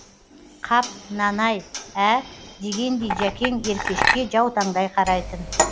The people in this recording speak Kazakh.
қап мынаны ай ә дегендей жәкең еркешке жаутаңдай қарайтын